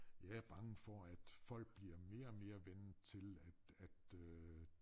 Jeg er bange for at folk bliver mere og mere vant til at at øh